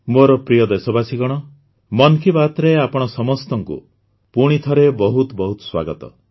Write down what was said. ମୋର ପ୍ରିୟ ଦେଶବାସୀଗଣ ମନ୍ କି ବାତ୍ରେ ଆପଣ ସମସ୍ତଙ୍କୁ ପୁଣି ଥରେ ବହୁତ ବହୁତ ସ୍ୱାଗତ